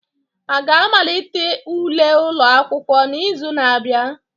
A ga-amalite ule ụlọ akwụkwọ n'izu na-abịa?